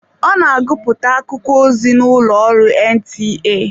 Ọ na agụpụta akụkọ ozi n'ụlọ ọrụ NTA.